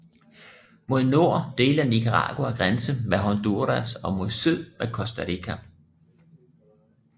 Mod nord deler Nicaragua grænse med Honduras og mod syd med Costa Rica